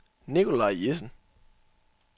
Nicolaj Jessen